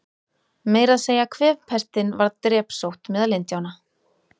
Meira að segja kvefpestin varð drepsótt meðal Indíána.